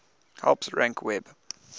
helps rank web